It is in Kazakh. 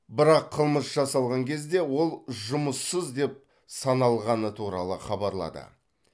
бірақ қылмыс жасалған кезде ол жұмыссыз деп саналғаны туралы хабарлады